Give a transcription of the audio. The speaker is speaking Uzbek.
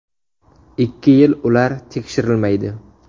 Ikki yil ular tekshirilmaydi.